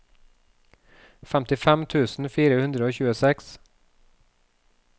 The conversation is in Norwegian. femtifem tusen fire hundre og tjueseks